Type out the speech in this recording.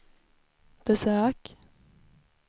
besök